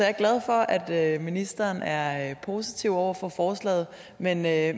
er glad for at ministeren er er positiv over for forslaget men jeg